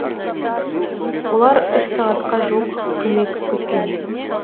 олар үш сағатқа жуық көмек күткен